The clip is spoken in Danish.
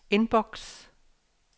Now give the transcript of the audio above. inbox